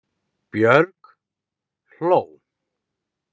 Björg hló.